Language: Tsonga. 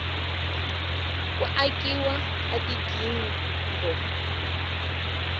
ku akiwa ka tigingho